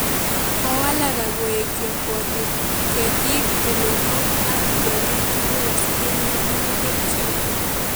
Kowalak akoek yokwotet, ketik tulonok ak tiongik tugul asikenyor unee kelchin